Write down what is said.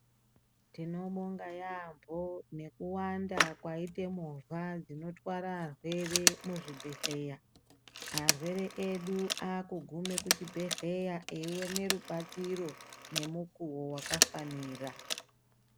Tinobonga yaambo nekuwanda kwaite movha dzinotware arwere muzvibhedhleya arwere edu aakugume kuchibhedhleya eione rubatsiro nemukuwo wakafanira.